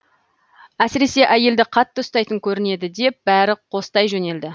әсіресе әйелді қатты ұстайтын көрінеді деп бәрі қостай жөнелді